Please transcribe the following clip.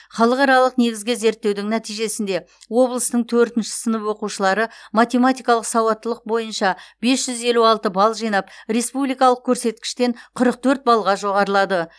халықаралық негізгі зерттеудің нәтижесінде облыстың төртінші сынып оқушылары математикалық сауаттылық бойынша бес жүз елу алты балл жинап республикалық көрсеткіштен қырық төрт баллға жоғарылады